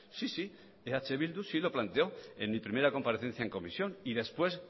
sí sí eh bildu sí lo planteó en mi primera comparecencia en comisión y después